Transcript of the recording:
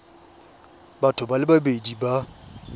batho ba le babedi ba